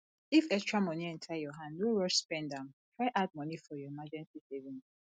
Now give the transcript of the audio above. if extra money enter your hand no rush spend am try add money for your emrrgency savings